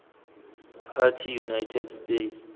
party united states